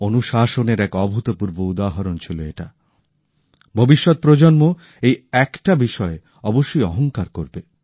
অনুশাসনের এক অভূতপূর্ব উদাহরণ ছিল এটা ভবিষ্যৎ প্রজন্ম এই একটা বিষয়ে অবশ্যই অহংকার করবে